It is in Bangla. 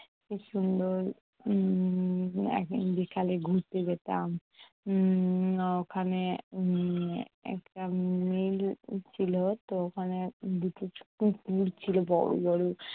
খুব সুন্দর উম একদিন বিকালে ঘুরতে যেতাম। উম মানে আহ ওখানে উম একটা উম উঠছিলো দুটো কুকুর ছিল বড় বড়।